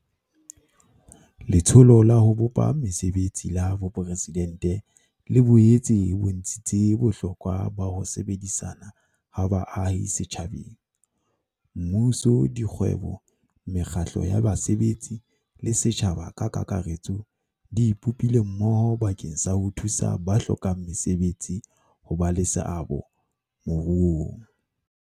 Letsholo la ho Bopa Mese betsi la Boporesidente le boetse e bontshitse bohlokwa ba ho sebedisana ha baahi setjhabeng Mmuso, dikgwebo, mekgatlo ya basebetsi le setjhaba ka kakaretso di ipopile mmoho bakeng sa ho thusa ba hlokang mesebetsi ho ba le seabo moruong.